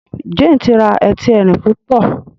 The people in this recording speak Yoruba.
Jane tí rà Ẹti Ẹrin púpọ